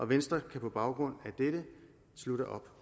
venstre kan på baggrund af dette slutte op